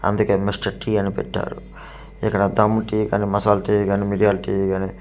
అందుకే Mister tea అని పెట్టారు ఇక్కడ దమ్ము టీ కానీ మసాలా టీ గాని మిర్యాల టీ గానీ --